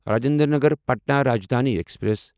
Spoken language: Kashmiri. راجندر نگر پٹنا راجدھانی ایکسپریس